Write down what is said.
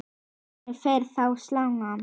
Hvernig fer þá salan?